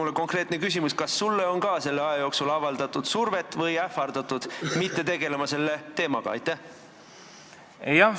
Siit konkreetne küsimus: kas sulle on ka selle aja jooksul survet avaldatud või ähvardatud, et sa ei tegeleks selle teemaga?